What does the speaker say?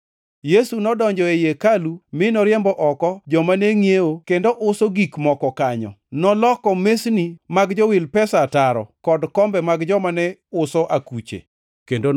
Yesu nodonjo ei hekalu mi noriembo oko joma ne ngʼiewo kendo uso gik moko kanyo. Noloko mesni mag jowil pesa ataro kod kombe mag joma ne uso akuche, kendo